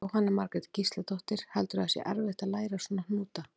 Jóhanna Margrét Gísladóttir: Heldurðu að það sé erfitt að læra svona hnúta?